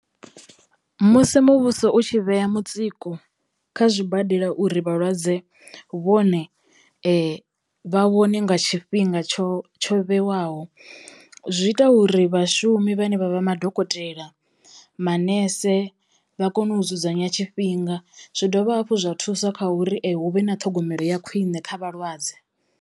Musi muvhuso u tshi vhea mutsiko kha zwibadela uri vhalwadze vhone vha vhone nga tshifhinga tsho tsho vhewaho zwi ita uri vhashumi vhane vha vha madokotela, manese vha kono u dzudzanya tshifhinga zwi dovha hafhu zwa thusa kha uri hu vhe na ṱhogomelo ya khwiṋe kha vhalwadze.